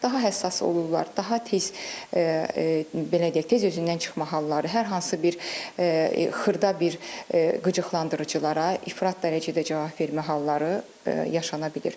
Daha həssas olurlar, daha tez belə deyək, tez özündən çıxma halları, hər hansı bir xırda bir qıcıqlandırıcılara ifrat dərəcədə cavab vermə halları yaşana bilir.